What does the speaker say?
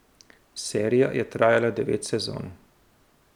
Serija je trajala devet sezon.